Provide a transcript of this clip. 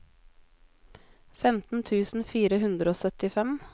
femten tusen fire hundre og syttifem